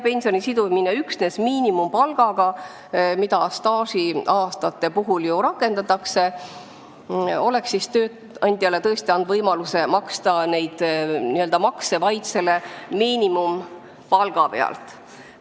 Pensioni sidumine üksnes miinimumpalgaga, mida staažiaastate puhul ju rakendatakse, oleks tööandjale tõesti andnud võimaluse maksta makse vaid miinimumpalga pealt.